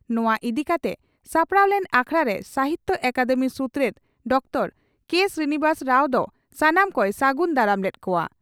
ᱱᱚᱣᱟ ᱤᱫᱤ ᱠᱟᱛᱮ ᱥᱟᱯᱲᱟᱣ ᱞᱮᱱ ᱟᱠᱷᱲᱟ ᱨᱮ ᱥᱟᱦᱤᱛᱭᱚ ᱟᱠᱟᱫᱮᱢᱤ ᱥᱩᱛᱨᱮᱛ ᱰᱚᱠᱴᱚᱨ ᱠᱮᱹ ᱥᱨᱤᱱᱤᱵᱟᱥ ᱨᱟᱣ ᱫᱚ ᱥᱟᱱᱟᱢ ᱠᱚᱭ ᱥᱟᱹᱜᱩᱱ ᱫᱟᱨᱟᱢ ᱞᱮᱫ ᱠᱚᱜᱼᱟ ᱾